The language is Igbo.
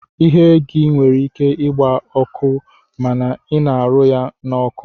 Ihe gi nwere ike igba ọkụ ma ina arụ ya na oku.